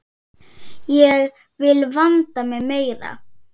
Ég vil vanda mig meira.